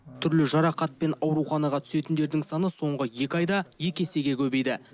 түрлі жарақатпен ауруханаға түсетіндердің саны соңғы екі айда екі есеге көбейді